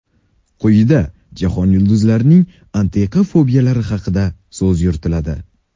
Quyida jahon yulduzlarining antiqa fobiyalari haqida so‘z yuritiladi.